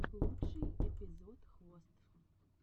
лучший эпизод хвост